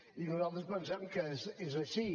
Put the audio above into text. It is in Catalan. i nosaltres pensem que és així